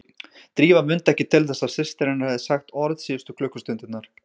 Drífa mundi ekki til þess að systir hennar hefði sagt orð síðustu klukkustundirnar.